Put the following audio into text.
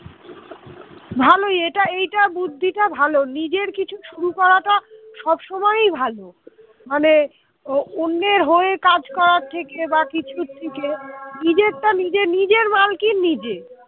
এটা এটা বুদ্ধিটা ভালো নিজের কিছু শুরু করাটা সবসময়ই ভালো মানে অন্যের হয়ে কাজ করার থেকে বা কিছু থেকে নিজেরটা নিজে নিজের মালকিন নিজে